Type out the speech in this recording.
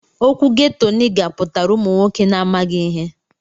Okwu ghetto niga putara ụmụ nwọke na amaghi ihe.